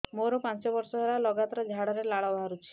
ମୋରୋ ପାଞ୍ଚ ବର୍ଷ ହେଲା ଲଗାତାର ଝାଡ଼ାରେ ଲାଳ ବାହାରୁଚି